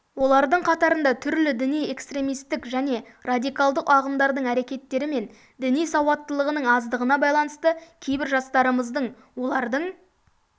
олардың қатарында түрлі діни-экстремистік және радикалдық ағымдардың әрекеттері мен діни сауаттылығының аздығына байланысты кейбір жастарымыздың олардың